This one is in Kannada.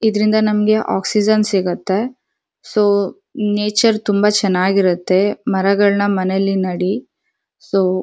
ಇದ್ರಿಂದ ನಮ್ಗೆ ಆಕ್ಸಿಜನ್ ಸಿಗತ್ತೆ ಸೊ ನೇಚರ್ ತುಂಬಾ ಚೆನ್ನಾಗಿರತ್ತೆ ಮರಗಳ್ನ ಮನೇಲಿ ನಡಿ ಸೊ --